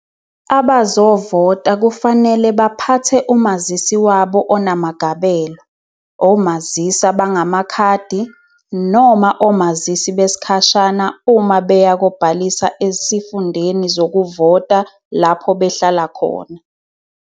Abazovota kufanele baphathe umazisi wabo onamagabelo, omazisi abangamakhadi noma omazisi besikhashana uma beya kobhalisa esifundeni zokuvota lapho behlala khona.